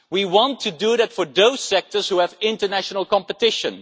We want to do that for those sectors which have international competition.